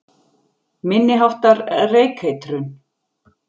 Minni háttar reykeitrun